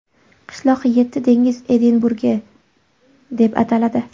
Qishloq yetti dengiz Edinburgi deb ataladi.